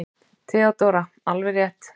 THEODÓRA: Alveg rétt!